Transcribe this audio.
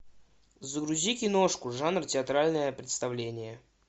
загрузи киношку жанр театральное представление